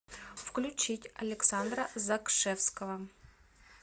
включить александра закшевского